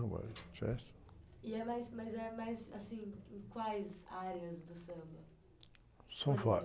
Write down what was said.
e festas. é mais, mas é mais assim, em quais áreas do samba?ão várias.